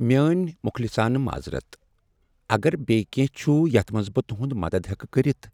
میٲنۍ مخلصانہٕ معذرت! اگر بییِہ کینٛہہ چھ یتھ منٛز بہٕ تُہند مدتھ ہیکہٕ کٔرتھ،